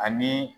Ani